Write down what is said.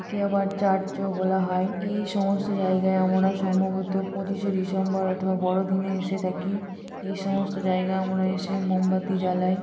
একে আবার চার্চ -ও বলা হয় এই সমস্ত জায়গায় আমরা সম্ভবত পঁচিশ -এ ডিসেম্বর অথবা বড়দিনে এসে থাকি এই সমস্ত জায়গায় এসে আমরা মোমবাতি জ্বালাই।